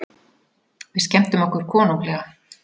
Við skemmtum okkur konunglega.